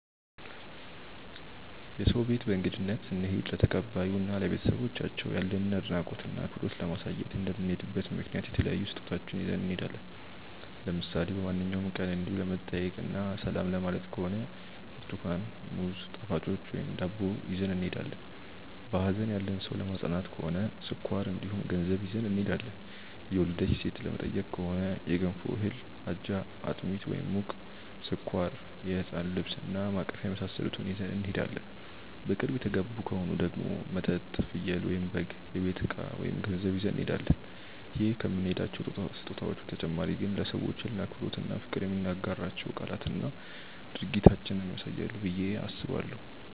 የሰው ቤት በእንግድነት ስንሄድ ለተቀባዩ እና ለቤተሰቦቻቸው ያለንን አድናቆት እና አክብሮት ለማሳየት እንደምንሄድበት ምክንያት የተለያዩ ስጦታዎችን ይዘን እንሄዳለን። ለምሳሌ በማንኛውም ቀን እንዲው ለመጠያየቅ እና ሰላም ለማየት ከሆነ ብርትኳን፣ ሙዝ፣ ጣፋጮች ወይም ዳቦ ይዘን እንሄዳለን። በሀዘን ያለን ሰው ለማፅናናት ከሆነ ስኳር እንዲሁም ገንዘብ ይዘን እንሄዳለን። የወለደች ሴትን ለመጠየቅ ከሆነ የገንፎ እህል፣ አጃ፣ አጥሚት (ሙቅ)፣ስኳር፣ የህፃን ልብስ እና ማቀፊያ የመሳሰሉትን ይዘን እንሄዳለን። በቅርብ የተጋቡ ከሆኑ ደግሞ መጠጥ፣ ፍየል/በግ፣ የቤት እቃ ወይም ገንዘብ ይዘን እንሄዳለን። ይዘን ከምንሄዳቸው ስጦታዎች በተጨማሪ ግን ለሰዎቹ ያለንን አክብሮት እና ፍቅር የምንናገራቸው ቃላትና ድርጊታችንም ያሳያሉ ብዬ አስባለሁ።